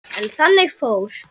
En þannig fór.